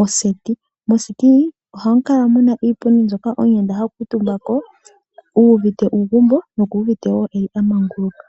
moseti mono hamu kala muna iipundi mbyono omuyenda ha kutumba uvite uugumbo nokwamangukuka.